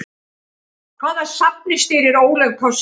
Hvaða safni stýrir Ólöf K Sigurðardóttir?